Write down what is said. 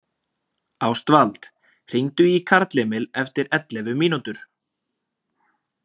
Ástvald, hringdu í Karlemil eftir ellefu mínútur.